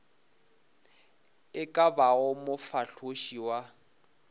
e ka bago mofahloši wa